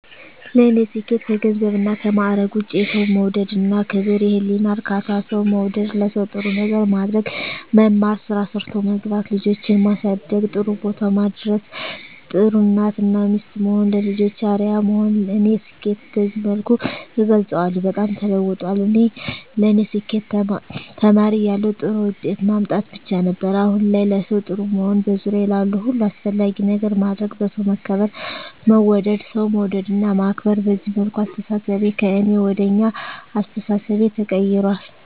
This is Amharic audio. ለኔ ስኬት ከገንዘብና ከማዕረግ ውጭ የሠው መውደድ እና ክብር፤ የህሊና እርካታ፤ ሠው መውደድ፤ ለሠው ጥሩ ነገር ማድረግ፤ መማር፤ ስራ ሠርቶ መግባት፤ ልጆቼን ማሠደግ ጥሩቦታ ማድረስ፤ ጥሩ እናት እና ሚስት መሆን፤ ለልጆቼ አርያ መሆን ለኔ ስኬትን በዚህ መልኩ እገልፀዋለሁ። በጣም ተለውጧል ለኔ ስኬት ተማሪ እያለሁ ጥሩ ውጤት ማምጣት ብቻ ነበር። አሁን ላይ ለሠው ጥሩ መሆን፤ በዙሪያዬ ላሉ ሁሉ አስፈላጊ ነገር ማድረግ፤ በሠው መከበር መወደድ፤ ሠው መውደድ እና ማክበር፤ በዚህ መልኩ አስተሣሠቤ ከእኔ ወደ አኛ አስተሣሠቤ ተቀይራል።